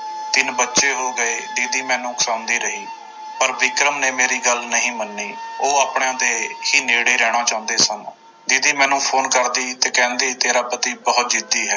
ਤਿੰਨ ਬੱਚੇ ਹੋ ਗਏ ਦੀਦੀ ਮੈਨੂੰ ਉਕਸਾਉਂਦੀ ਰਹੀ ਪਰ ਵਿਕਰਮ ਨੇ ਮੇਰੀ ਗੱਲ ਨਹੀਂ ਮੰਨੀ ਉਹ ਆਪਣਿਆਂ ਦੇ ਹੀ ਨੇੜੇ ਰਹਿਣਾ ਚਾਹੁੰਦੇ ਸਨ, ਦੀਦੀ ਮੈਨੂੰ ਫ਼ੋਨ ਕਰਦੀ ਤੇ ਕਹਿੰਦੀ ਤੇਰਾ ਪਤੀ ਬਹੁਤ ਜਿੱਦੀ ਹੈ।